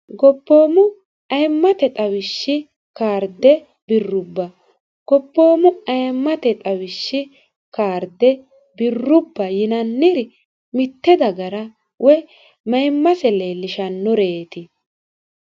gobboomu ayimmate xawishshi kaarde birrubba goboomu ayimmate xawishshi kaarde birrubba yinanniri mitte dagara woy maimmase leellishannoreeti